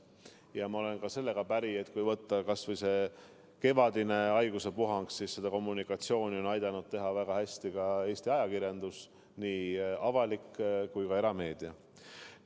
Ja ma olen päri ka sellega, et kui võtta kas või see kevadine haiguspuhang, siis on kommunikatsioonile aidanud väga hästi kaasa ka Eesti ajakirjandus, nii avalik kui ka erameedia.